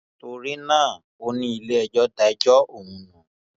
torí náà ó ní iléẹjọ da ẹjọ ọhún nù